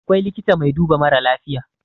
akwai likita mai duba mara lafiya